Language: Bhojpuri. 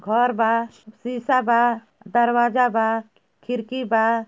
घर बा शीसा बा दरवाजा बा खिड़की बा।